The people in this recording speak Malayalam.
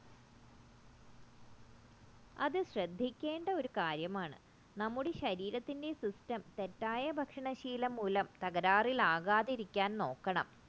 അത് ശ്രദ്ധിക്കേണ്ട ഒരു കാര്യമാണ് നമ്മുടെ ശരീരത്തിൻറെ system തെറ്റായ ഭക്ഷണശീലം മൂലം തകരാറിലാകാതിരിക്കാൻ നോക്കണം